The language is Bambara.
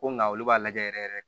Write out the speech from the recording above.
Ko nga olu b'a lajɛ yɛrɛ yɛrɛ